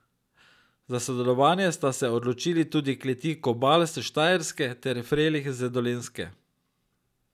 Za sodelovanje sta se odločili tudi kleti Kobal s Štajerske ter Frelih z Dolenjske.